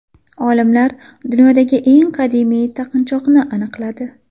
Olimlar dunyodagi eng qadimiy taqinchoqni aniqladi .